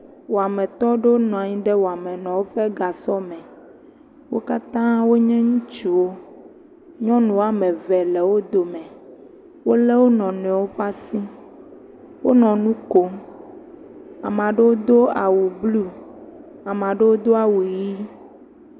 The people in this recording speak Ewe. Wɔmetɔ aɖewo nɔ anyi ɖe wɔmetɔwo ƒe gasɔ me. Wo katã wonye ŋutsuwo, nyɔnu woame ve le wo dome, wolé wo nɔ nɔewo ƒe asi. Wonɔ nu kom, amea ɖewo do awu blu, amea ɖewo do awu ʋɛ̃.